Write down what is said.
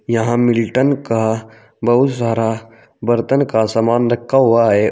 यहां मिल्टन का बहुत सारा बर्तन का सामान रखा हुआ है औ--